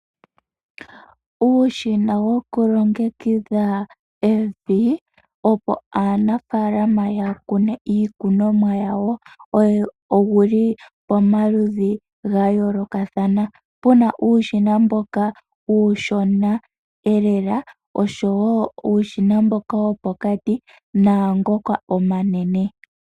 Uushina woku longekidha evi opo aanafaalama ya kune iikunomwa yawo owuli pomaludhi gayoolokathana. Puna uushina mboka uushona lela osho woo uushina mboka wopokati naangoka omanene.